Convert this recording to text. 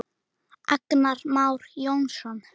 Agnar Már Jónsson